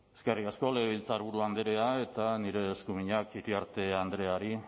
eskerrik asko legebiltzarburu andrea eta nire eskuminak iriarte andreari